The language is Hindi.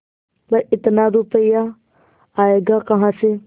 पर इतना रुपया आयेगा कहाँ से